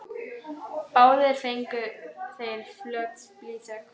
Báðir fengu þeir flöt blýþök.